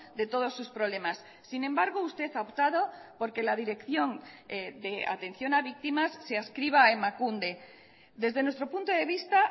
de todos sus problemas sin embargo usted ha optado porque la dirección de atención a víctimas se adscriba a emakunde desde nuestro punto de vista